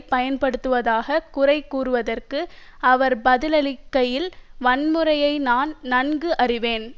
பயன்படுத்துவதாக குறை கூறியதற்கு அவர் பதிலளிக்கையில் வன்முறையை நான் நன்கு அறிவேன்